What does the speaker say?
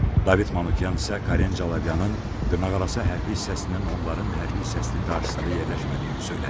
David Manukyan isə Karen Calavyanın dırnaqarası hərbi hissəsinin onların hərbi hissəsinin qarşısında yerləşmədiyini söylədi.